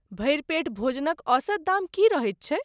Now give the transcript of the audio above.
भरि पेट भोजनक औसत दाम की रहैत छैक?